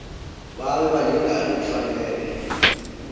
babe balingani kufanele